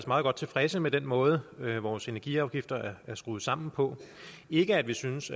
meget godt tilfredse med den måde vores energiafgifter er skruet sammen på ikke at vi synes